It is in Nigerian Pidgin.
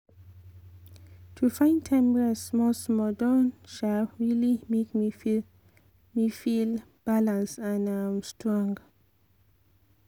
to find time rest small-small don um really make me feel me feel balanced and um strong.